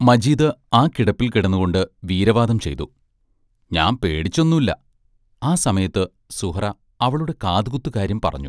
മജീദ് ആ കിടപ്പിൽ കിടന്നുകൊണ്ട് വീരവാദം ചെയ്തു: ഞാൻ പേടിച്ചൊന്നുല്ല ആ സമയത്ത് സുഹ്റാ അവളുടെ കാതുകുത്തുകാര്യം പറഞ്ഞു.